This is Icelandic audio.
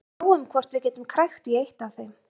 Sjáum hvort við getum krækt í eitt af þeim.